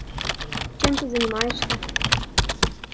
чем ты занимаешься